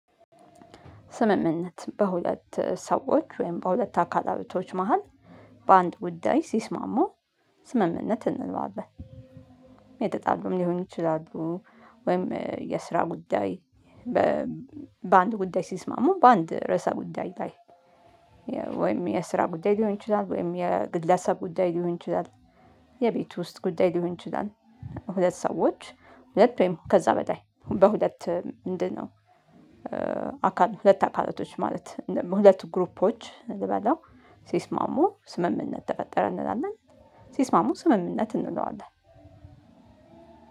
ስምምነት በሁለት ሰዎች ወይም በሁለት አካል አመቶች መሃል በአንድ ውዳይ ሲስማሙ ስምምነት እንለዋለን የተጣሉም ሊሆን ይችላሉ። ወይም የስራ ጉዳይ በአንድ ጉዳይ ሲስማሙ በአንድ ርዕሰ ጉዳይ ላይ። ወይም የስራ ጉዳይ ሊሆን ይችላል ወይም የግለሰብ ጉዳይ ሊሆን ይችላል። የቤቱ ውስጥ ጉዳይ ሊሆን ይችላል። ሁለት ሰዎች ሁለት ውይም ከዛ በላይ በሁለት ምንድነው? አካል ሁለት አካላቶች ማለት ሁለቱ ግሩፖች ልበለው ሲስማሙ ስምምነት ተፈጠረ እንላለን። ሲስማሙ ስምምነት እንለዋለን